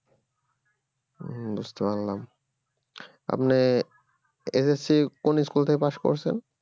হম বুঝতে পারলাম আপনি SSC exam কোন school থেকে pass করছেন